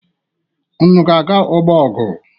Unu ga-aga ọgbọ ọgụ?